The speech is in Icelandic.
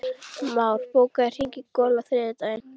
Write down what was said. Már, bókaðu hring í golf á þriðjudaginn.